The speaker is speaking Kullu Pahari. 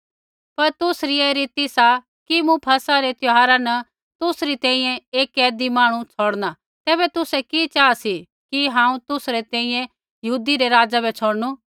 पर तुसरी ऐ रीति सा कि मूँ फसह री त्यौहारा न तुसरी तैंईंयैं एक कैदी मांहणु छ़ौड़णु तैबै तुसै कि चाहा सी कि हांऊँ तुसा री तैंईंयैं यहूदी रै राज़ा बै छ़ौड़णु